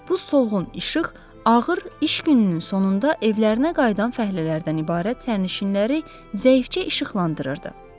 Bu solğun işıq ağır iş gününün sonunda evlərinə qayıdan fəhlələrdən ibarət sərnişinləri zəifcə işıqlandırırdı.